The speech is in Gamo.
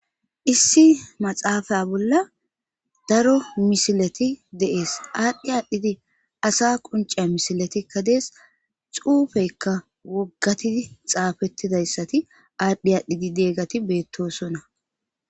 Issi maxaafaya bolla daro misilati deees aadhdhi aadhdhidi asa qunce misilatikka dees xuufeykka woggatidi xaafettidayssati aadhdhi aadhdhidi deeggati beettosona.